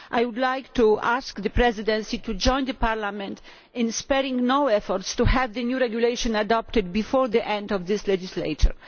I would like to ask the Presidency to join Parliament in sparing no effort to have the new regulation adopted before the end of this legislature.